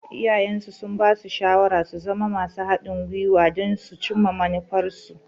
Iyayensu sun basu shawarar su zama masu haɗin guiwa don su cimma manufarsu.